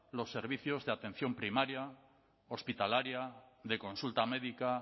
los servicios de atención primaria hospitalaria de consulta médica